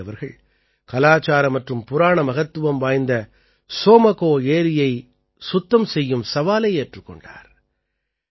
சங்கே அவர்கள் கலாச்சார மற்றும் புராண மகத்துவம் வாய்ந்த சோமகோ ஏரியைச் சுத்தம் செய்யும் சவாலை ஏற்றுக் கொண்டார்